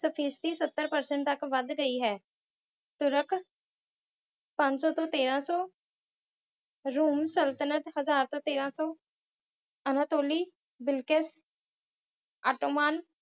ਸਫੀਸਤੀ ਸੱਤਰ percent ਤੱਕ ਵੱਧ ਗਈ ਹੈ। ਤੁਰਕ ਪੰਜ ਸੌ ਤੋਂ ਤੇਰਾਂ ਸੌ ਰੁਮ ਸਲਤਨਤ ਹਜ਼ਾਰ ਤੋਂ ਤੇਰਾਂ ਸੌ ਅਨਾਤੋਲੀ ਬਿਲਿਕਸ ਆਟੋਮਾਨ